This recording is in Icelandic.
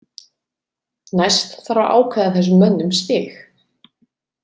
Næst þarf að ákveða þessum mönnum stig.